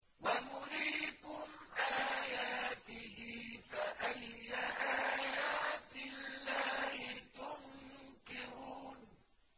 وَيُرِيكُمْ آيَاتِهِ فَأَيَّ آيَاتِ اللَّهِ تُنكِرُونَ